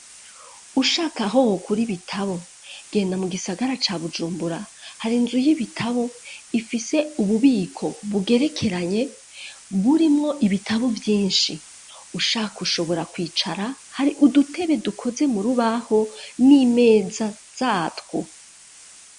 Ushaka aho wokura ibitabo, genda mu gisagara ca Bujumbura, hari nzu y'ibitabo ifise ububiko bugerekeranye burimwo ibitabo vyinshi, ushaka ushobora kwicara, hari udutebe dukoze murubaho n'imeza zatwo.